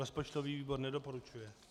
Rozpočtový výbor nedoporučuje.